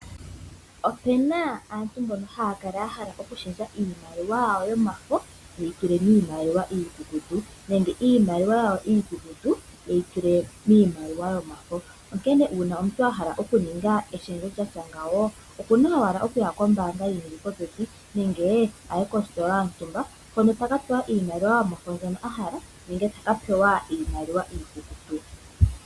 Opu na aantu mbono haya kala ya hala okushendja iimaliwa yawo yomafo ye yi tule miimaliwa iikukutu nenge iimaliwa iikukutu ye yi tule miimaliwa yomafo. Omuntu ngele a hala okuninga eshendjo lyatya ngawo oku na owala okuya kombaanga yi li popepi nenge kositola yontumba hono taka pewa iimaliwa yomafo mbyono a hala nenge ta ka pewa iimaliwa iikukutu.